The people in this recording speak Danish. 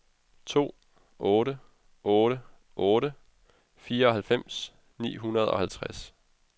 to otte otte otte fireoghalvfems ni hundrede og halvtreds